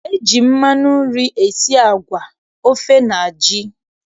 E ji mmanụ nri esi agwa, ofe na ji.